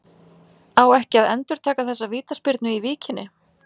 Á ekki að endurtaka þessa vítaspyrnu í Víkinni?